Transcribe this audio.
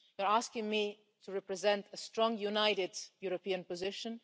You're asking me to represent a strong, united European position.